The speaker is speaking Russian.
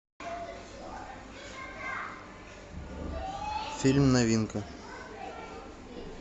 фильм новинка